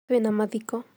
Twĩ na mathiko